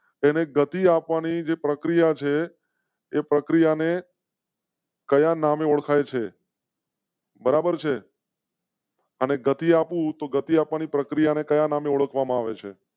તેને ગતિ આપવા ની જે પ્રક્રિયા છે એ પ્રક્રિયા ને. કયા નામે ઓળખાય છે? બરાબર છે. અને ગતિ આપું તો ગતિ આપવા ની પ્રક્રિયા ને કયા નામે ઓળખવા માં આવે છે.